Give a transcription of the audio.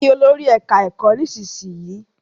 Kí Olórí ẹka ẹkọ nísìsiyìí!